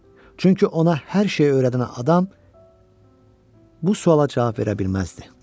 Çünki ona hər şeyi öyrədən adam bu suala cavab verə bilməzdi.